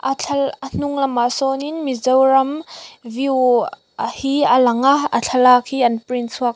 a thla a hnung lamah sawnin mizoram view a hi a lang a a thlalak hi an print chhuak--